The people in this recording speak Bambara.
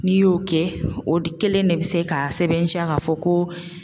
N'i y'o kɛ o de kelen de bi se k'a sɛbɛntiya ka fɔ ko